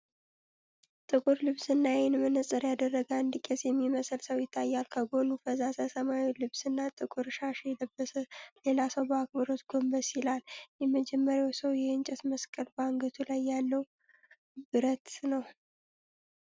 ጥቁር ልብስና የዓይን መነጽር ያደረገ አንድ ቄስ የሚመስል ሰው ይታያል። ከጎኑ ፈዛዛ ሰማያዊ ልብስና ጥቁር ሻሽ የለበሰ ሌላ ሰው በአክብሮት ጎንበስ ይላል። የመጀመሪያው ሰው የእንጨት መስቀል በአንገቱ ላይ ያለውን ብረትን ነው።